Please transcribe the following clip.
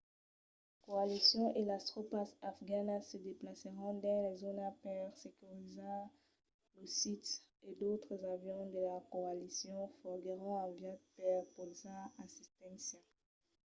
la coalicion e las tropas afganas se desplacèron dins la zòna per securizar lo sit e d'autres avions de la coalicion foguèron enviats per portar assisténcia